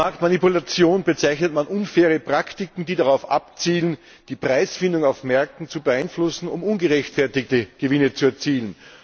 Als Marktmanipulation bezeichnet man unfaire Praktiken, die darauf abzielen, die Preisfindung auf Märkten zu beeinflussen, um ungerechtfertigte Gewinne zu erzielen.